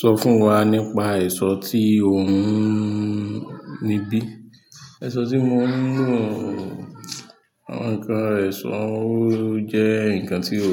Sọ fún wa nípa èso tí ò ń níbí. Èso tí mò ń lò, àwọn ǹkan èso jẹ́ ǹkan tí ò